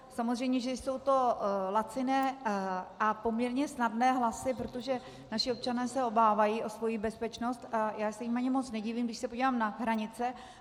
Samozřejmě že jsou to laciné a poměrně snadné hlasy, protože naši občané se obávají o svoji bezpečnost, a já se jim ani moc nedivím, když se podívám na hranice.